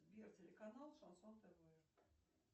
сбер телеканал шансон тв